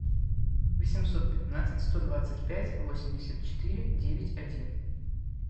восемьсот пятнадцать сто двадцать пять восемьдесят четыре девять один